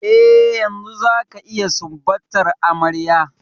Eh, yanzu zaka iya sumbatar amarya.